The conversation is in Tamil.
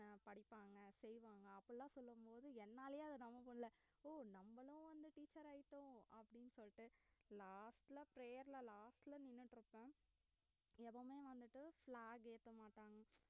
படிப்பாங்க செய்வாங்க அப்படியெல்லாம் சொல்லும் போது என்னாலயே அத நம்ப முடில ஓ நம்மளும் வந்து teacher ஆயிட்டோம் அப்டின்னு சொல்லிட்டு last ல prayer ல last ல நின்னுட்டு இருபேன் எப்பவுமே வந்துட்டு flag ஏத்த மாட்டாங்க